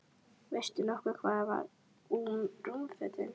Veistu nokkuð hvað varð um rúmfötin?